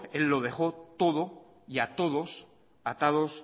él lo dejó todo y a todos atados